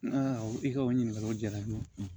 i ka o ɲininkaliw diyara n ye